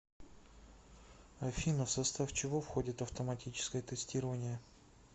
афина в состав чего входит автоматическое тестирование